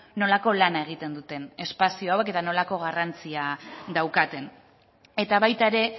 nolako lana egiten duten espazio hauek eta nolako garrantzia daukaten eta baita ere